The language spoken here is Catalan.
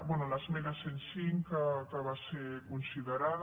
bé l’esmena cent i cinc que va ser considerada